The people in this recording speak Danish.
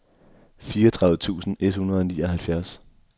fireogtredive tusind et hundrede og nioghalvfjerds